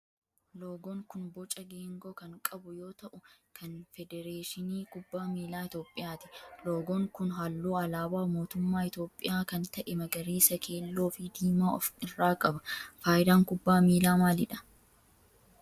Loogoon kun boca geengoo kan qabu yoo ta'u kan federeeshinii kubbaa miilaa Itiyoophiyaati. Loogoon kun halluu alaabaa mootummaa Itiyoophiyaa kan ta'e magariisa, keelloo fi diimaa of irraa qaba. Fayidaan kubbaa miilaa maalidha?